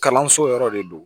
Kalanso yɔrɔ de don